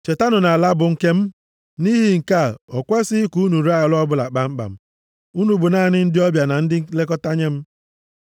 “ ‘Chetanụ na ala bụ nke m, nʼihi nke a, o kwesighị ka unu ree ala ọbụla kpamkpam. Unu bụ naanị ndị ọbịa na ndị nlekọta nye m.